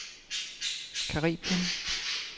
Caraibien